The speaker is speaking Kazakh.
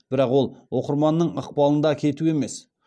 бірақ ол оқырманның ықпалында кету емес